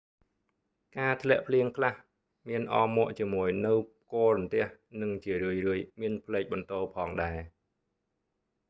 ការធ្លាក់ភ្លៀងខ្លះ មានអមមកជាមួយនូវផ្គររន្ទះ និងជារឿយៗមានផ្លេកបន្ទោរផងដែរ